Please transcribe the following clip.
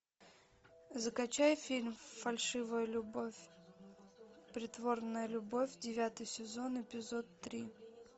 закачай фильм фальшивая любовь притворная любовь девятый сезон эпизод три